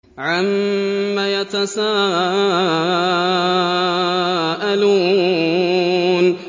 عَمَّ يَتَسَاءَلُونَ